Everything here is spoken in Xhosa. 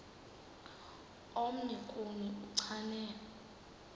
omnye kuni uchane